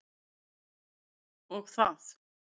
Og það.